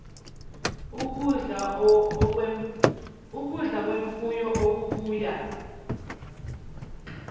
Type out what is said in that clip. ukudla kwemfuyo okubuya